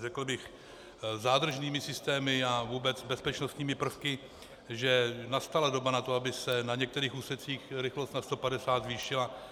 řekl bych, zádržnými systémy a vůbec bezpečnostními prvky, že nastala doba na to, aby se na některých úsecích rychlost na 150 zvýšila.